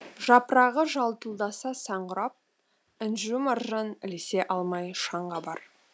жапырағы жалтылдаса сән құрап інжу маржан ілесе алмай шаң қабар